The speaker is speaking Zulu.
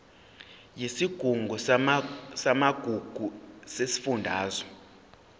yesigungu samagugu sesifundazwe